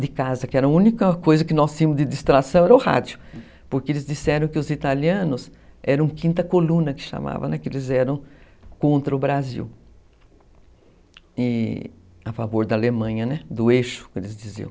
De casa, que era a única coisa que nós tínhamos de distração era o rádio, porque eles disseram que os italianos eram quinta coluna, que chamavam, né, que eles eram contra o Brasil, e a favor da Alemanha, do eixo, né, como eles diziam.